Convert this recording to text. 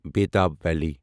Betaab valley